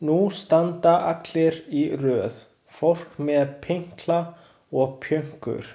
Nú standa allir í röð, fólk með pinkla og pjönkur.